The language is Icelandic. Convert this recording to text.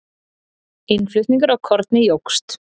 Innflutningur á korni jókst.